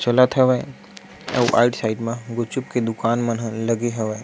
चलत हवे अउ राइट साइड म गुपचुप के दूकान मन हे लगे हवे।